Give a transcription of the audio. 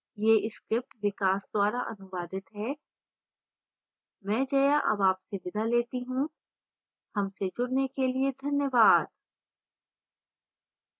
यह script विकास द्वारा अनुवादित है मैं जया अब आपसे विदा लेती हूँ